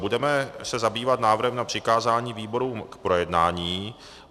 Budeme se zabývat návrhem na přikázání výborům k projednání.